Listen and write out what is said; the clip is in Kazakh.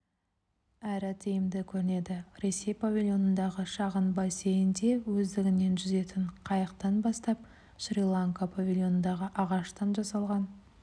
әрі тиімді көрінеді ресей павильонындағы шағын бассейнде өздігінен жүзетін қайықтан бастап шри-ланка павильонындағы ағаштан жасалған